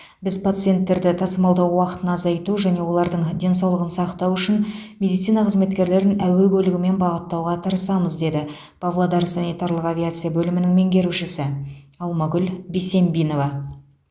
біз пациенттерді тасымалдау уақытын азайту және олардың денсаулығын сақтау үшін медицина қызметкерлерін әуе көлігімен бағыттауға тырысамыз деді павлодар санитарлық авиация бөлімінің меңгерушісі алмагүл бесембинова